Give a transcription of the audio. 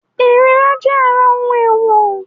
Ìríra jẹ́ ara ohun èèwọ̀